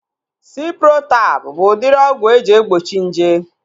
Ciprotab bụ udiri ọgwụ eji egbochi nje